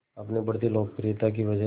अपनी बढ़ती लोकप्रियता की वजह